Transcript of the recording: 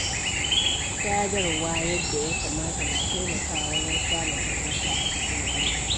Sadarwa yadda ya kamata na taimakawa wajen samun fahimta a cikin aure.